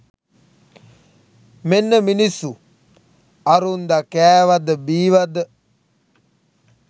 මෙන්න මිනිස්සු ඇරුන්දැ කෑවද බීවද